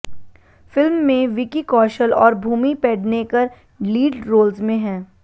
film में विकी कौशल और Bhumi Pednekar lead roles में हैं